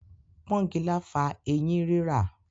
Pọ́ngilá fa ẹyín rírà.